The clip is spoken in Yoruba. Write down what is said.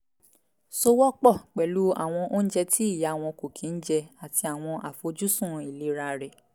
sowọ́ pọ̀ pẹ̀lú àwọn oúnjẹ tí ìyá wọn kò kí n jẹ àti àwọn àfojúsùn ìlera rẹ̀